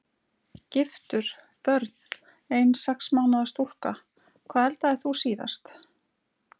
Giftur Börn: Ein sex mánaða stúlka Hvað eldaðir þú síðast?